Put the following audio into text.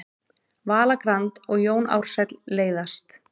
Vala Grand og Jón Ársæll leiðast